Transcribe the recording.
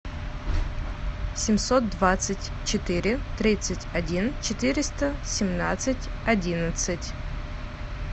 семьсот двадцать четыре тридцать один четыреста семнадцать одиннадцать